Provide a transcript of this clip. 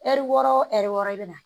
Ɛri wɔɔrɔ wo ɛri wɔɔrɔ i bɛ na